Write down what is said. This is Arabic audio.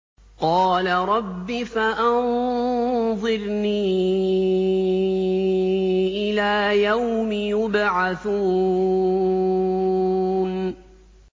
قَالَ رَبِّ فَأَنظِرْنِي إِلَىٰ يَوْمِ يُبْعَثُونَ